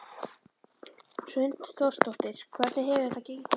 Hrund Þórsdóttir: Hvernig hefur þetta gengið?